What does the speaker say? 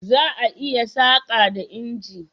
Za a yi saƙa da inji.